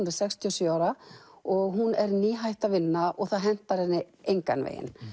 er sextíu og sjö ára og hún er nýhætt að vinna og það hentar henni engan veginn